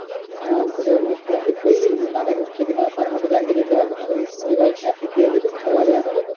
আহ কোন করলি যে টাকা ঢুকছে কিনা তার মধ্যে bank এ যেতে হবে না। ওই ওই ভাবে message দিয়ে দেবে mobile এ জানা যাবে।